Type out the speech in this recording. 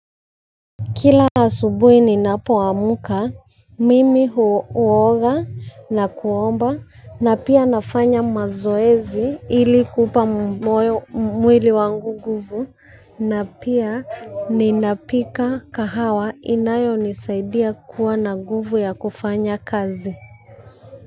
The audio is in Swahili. Kila asubuhi ninapoamka, mimi huoga na kuomba na pia nafanya mazoezi ili kupa mwili wangu nguvu na pia ninapika kahawa inayonisaidia kuwa na nguvu ya kufanya kazi.